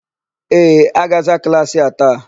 Ee, a ga-aza klaasị a taa.